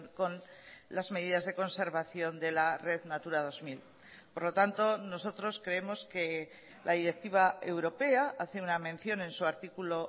con las medidas de conservación de la red natura dos mil por lo tanto nosotros creemos que la directiva europea hace una mención en su artículo